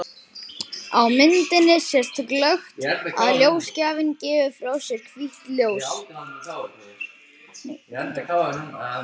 Á myndinni sést glöggt að ljósgjafinn gefur frá sér hvítt ljós.